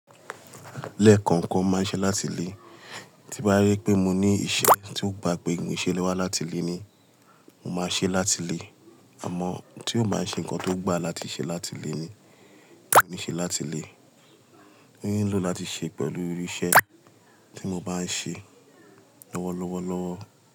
Lẹ́ẹ̀kọ̀kan máa ń ṣe láti lé, tí bá rí pé mo ní ìṣe tí ó gba pé mo lè ṣe wá láti lé ni, màá ṣe láti lé. Àmọ́ tí kò bá ń ṣe nǹkan tó gba láti ṣe láti lé ni, kò ní ṣe láti lé. Mo nílò láti ṣe pẹ̀lú irú iṣẹ́ tí mo bá ń ṣe lọ́wọ́lọ́wọ́.